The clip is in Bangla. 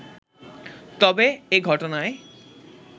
তবে এ ঘটনায়